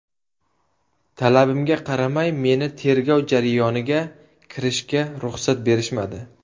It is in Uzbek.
Talabimga qaramay, meni tergov jarayoniga kirishga ruxsat berishmadi.